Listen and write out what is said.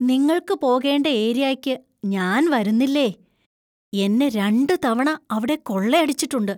നിങ്ങൾക്ക് പോകേണ്ട ഏരിയായ്ക്ക് ഞാൻ വരുന്നില്ലേയ്! എന്നെ രണ്ടുതവണ അവിടെ കൊള്ളയടിച്ചിട്ടുണ്ട്.